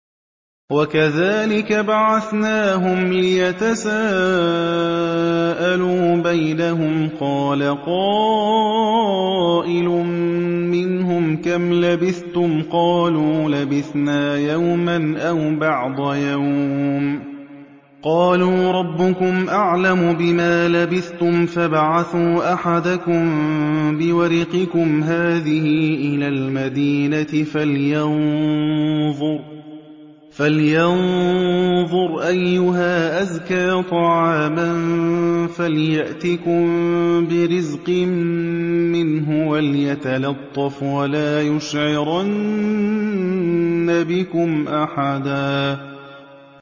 وَكَذَٰلِكَ بَعَثْنَاهُمْ لِيَتَسَاءَلُوا بَيْنَهُمْ ۚ قَالَ قَائِلٌ مِّنْهُمْ كَمْ لَبِثْتُمْ ۖ قَالُوا لَبِثْنَا يَوْمًا أَوْ بَعْضَ يَوْمٍ ۚ قَالُوا رَبُّكُمْ أَعْلَمُ بِمَا لَبِثْتُمْ فَابْعَثُوا أَحَدَكُم بِوَرِقِكُمْ هَٰذِهِ إِلَى الْمَدِينَةِ فَلْيَنظُرْ أَيُّهَا أَزْكَىٰ طَعَامًا فَلْيَأْتِكُم بِرِزْقٍ مِّنْهُ وَلْيَتَلَطَّفْ وَلَا يُشْعِرَنَّ بِكُمْ أَحَدًا